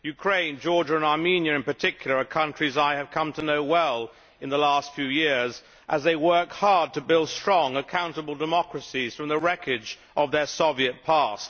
Ukraine, Georgia and Armenia, in particular, are countries I have come to know well during the last few years as they work hard to build strong, accountable democracies from the wreckage of their Soviet past.